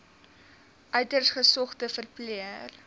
uiters gesogde verpleër